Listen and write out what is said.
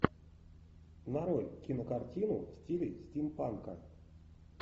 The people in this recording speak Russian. нарой кинокартину в стиле стимпанка